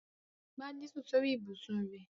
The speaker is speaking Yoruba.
Gbadé sùn sórí ibùsùn rẹ̀.